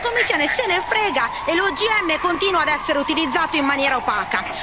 La Commissione se ne frega e l'OGM continua ad essere utilizzato in maniera opaca.